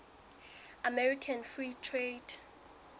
american free trade